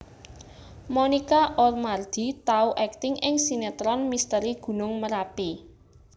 Monica Oemardi tau akting ing sinetron Misteri Gunung Merapi